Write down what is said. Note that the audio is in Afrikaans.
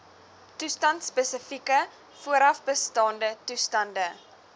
toestandspesifieke voorafbestaande toestande